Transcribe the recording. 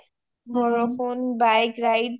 বৰষুণ bike ride